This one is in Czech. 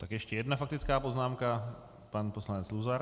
Tak ještě jedna faktická poznámka - pan poslanec Luzar.